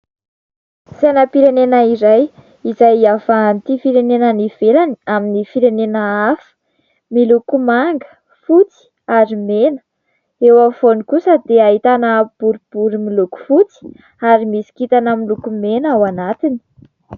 Sainam-pirenena iray izay iavahan'ity firenena any ivelany amin'ny firenena hafa ; miloko manga, fotsy ary mena. Eo afovoany kosa dia ahitana boribory miloko fotsy ary misy kintana miloko mena ao anatiny.